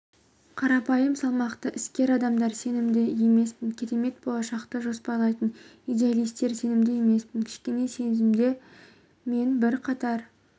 қарапайым салмақты іскер адамдар сенімді емеспін керемет болашақты жоспарлайтын идеалистер сенімді емеспін кішкентай кезімде мен бірқатар